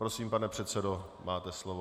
Prosím, pane předsedo, máte slovo.